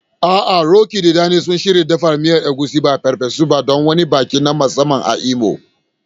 A'a, Roqeeb da Dan suna shirin dafa miyar Egusi, ba farfesu ba, don wani biki na musamman a Imo.